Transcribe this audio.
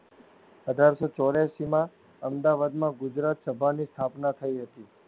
અઢારસો ચોરાસીમાં આમદાવાદમાં ગુજરાતસભાની સ્થાપના થઇ હતી.